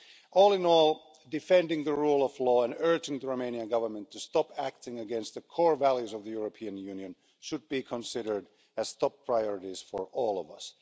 All in all, defending the rule of law and urging the Romanian Government to stop acting against the core values of the European Union should be considered as top priorities for all of us.